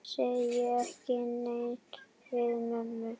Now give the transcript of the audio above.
Segir ekki nei við mömmu!